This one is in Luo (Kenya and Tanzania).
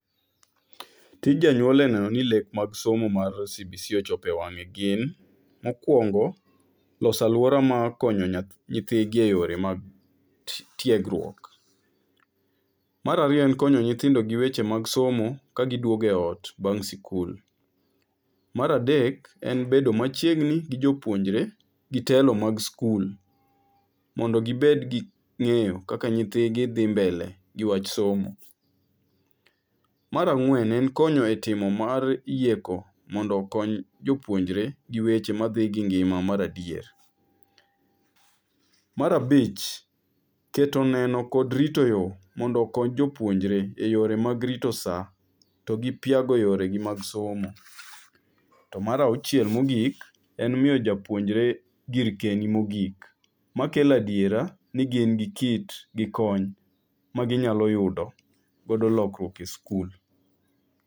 Tij janyuol en ni eno ni lek mag mar cbc ochopo ewang'e gin .Mokuongo, loso aluora mar konyo nyithigi eyore mag tiegruok. Mar ariyo en konyo nyithindo gi weche mag somo ka giduogo eot bang' sikul. Mar adek, en bedo machiegni gi jopuonjre gi telo mag skul mondo gi bedgi ng'eyo kaka nyithigi dhi mbele gi wach somo. Mar ang'wen ,en konyo e timo mar yieko mondo okony jopuonjre gi weche madhi gi ngima mar adier. Mar abich, keto neno kod rito yoo mondo okony jopuonjre eyore mag rito saa to gi piago yoregi mag somo. To mar auchiel mogik, en miyo japuonjre gir keiyini mogik makelo adiera ni gin gi kit gikony magi nyalo yudo godo lokruok e skul.